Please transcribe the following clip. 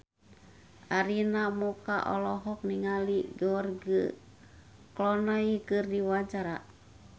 Arina Mocca olohok ningali George Clooney keur diwawancara